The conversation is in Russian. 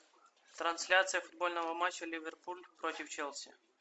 трансляция футбольного матча ливерпуль против челси